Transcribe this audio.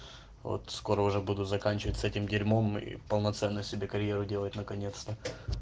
вот скоро уже буду заканчивать с этим дерьмом и полноценно себе карьеру делать наконец-то